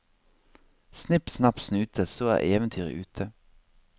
Snipp snapp snute, så er eventyret ute.